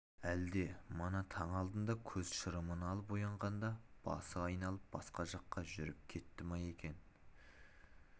әлде мана таң алдында көз шырымын алып оянғанда басы айналып басқа жаққа жүріп кетті ме екен